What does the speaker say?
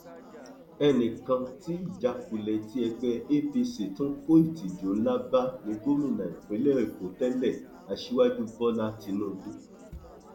ẹnì kan tí ìjákulẹ tí ẹgbẹ apc tún kó ìtìjú ńlá bá ní gómìnà ìpínlẹ èkó tẹlẹ aṣíwájú bọlá tínúbù